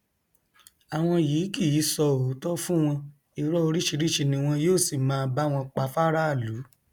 àwọn yìí kì í sọ òótọ fún wọn irọ oríṣiríṣiì ni wọn yóò sì máa bá wọn pa fáráàlú